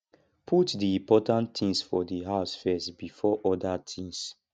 put di important things for di house first before oda things